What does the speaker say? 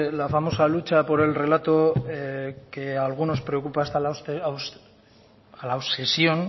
la famosa lucha por el relato que a algunos preocupa hasta a la obsesión